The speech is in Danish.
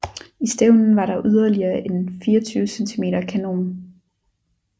I stævnen var der yderligere en 24 cm kanon